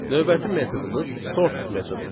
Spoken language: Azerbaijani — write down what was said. Növbəti metodumuz sort metodudur.